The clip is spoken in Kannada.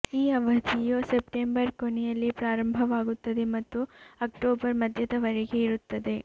ಈ ಅವಧಿಯು ಸೆಪ್ಟೆಂಬರ್ ಕೊನೆಯಲ್ಲಿ ಪ್ರಾರಂಭವಾಗುತ್ತದೆ ಮತ್ತು ಅಕ್ಟೋಬರ್ ಮಧ್ಯದ ವರೆಗೆ ಇರುತ್ತದೆ